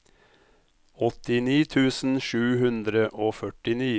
åttini tusen sju hundre og førtini